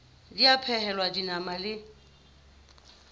ba a phehelwa dinama le